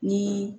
Ni